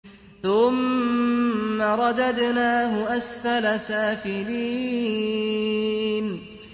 ثُمَّ رَدَدْنَاهُ أَسْفَلَ سَافِلِينَ